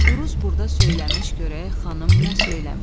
Uruz burda söyləmiş, görək xanım nə söyləmiş.